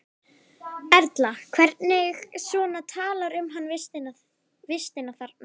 Erla: Hvernig svona talar hann um vistina þarna?